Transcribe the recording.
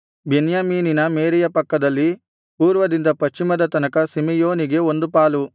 ಬೆನ್ಯಾಮೀನಿನ ಮೇರೆಯ ಪಕ್ಕದಲ್ಲಿ ಪೂರ್ವದಿಂದ ಪಶ್ಚಿಮದ ತನಕ ಸಿಮೆಯೋನಿಗೆ ಒಂದು ಪಾಲು